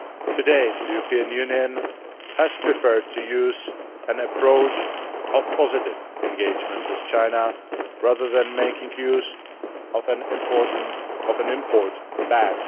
To date, the European Union has preferred to use an approach of positive engagement with China, rather than making use of an import ban.